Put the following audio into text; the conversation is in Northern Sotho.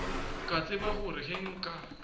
ka tseba gore ge nka